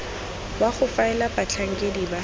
wa go faela batlhankedi ba